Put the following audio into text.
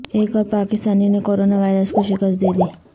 ایک اور پاکستانی نے کورونا وائرس کو شکست دے دی